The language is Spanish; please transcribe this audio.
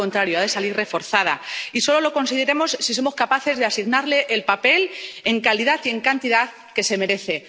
al contrario, ha de salir reforzada, y solo lo conseguiremos si somos capaces de asignarle el papel, en la calidad y la cantidad que se merece.